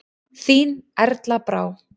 Þín Erla Brá.